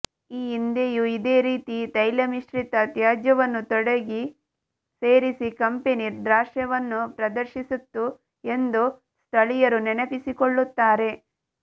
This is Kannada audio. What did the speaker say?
ಈ ಹಿಂದೆಯೂ ಇದೇ ರೀತಿ ತೈಲಮಿಶ್ರಿತ ತ್ಯಾಜ್ಯವನ್ನು ತೋಡಿಗೆ ಸೇರಿಸಿ ಕಂಪೆನಿ ದಾಷ್ಟ್ರ್ಯವನ್ನು ಪ್ರದಶರ್ಿಸಿತ್ತು ಎಂದು ಸ್ಥಳೀಯರು ನೆನಪಿಸಿಕೊಳ್ಳುತ್ತಾರೆ